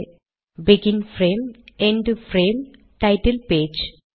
- begin frame end frame title page